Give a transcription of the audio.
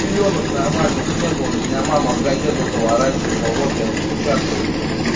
пелёнок нормальных не было меня мама в газету заворачивала вот и отпечатывались